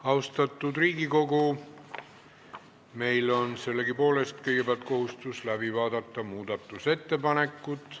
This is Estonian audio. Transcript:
Austatud Riigikogu, meil on sellegipoolest kõigepealt kohustus läbi vaadata muudatusettepanekud.